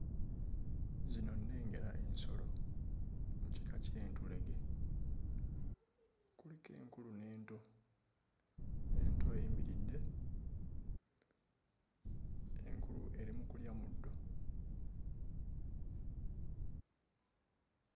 Zino nnengera ensolo mu kika ky'entulege kuliko enkulu n'ento. Ento eyimiridde enkulu eri mu kulya muddo.